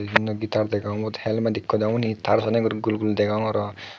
bibinno gitar degong ubot helmet ikko degong unyi taar saney guri gulgul degong aro.